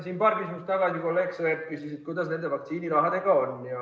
Siin paar küsimust tagasi kolleeg Sõerd küsis, kuidas nende vaktsiinirahadega on.